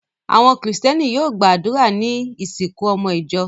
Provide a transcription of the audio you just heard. Àwọn Kìrìtẹ́ẹ́nì yóò gba àdúrà ní ìsìnkú ọmọ ìjọ.